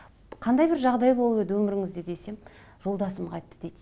қандай бір жағдай болып еді өміріңізде десем жолдасым қайтты дейді